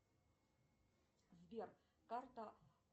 сбер карта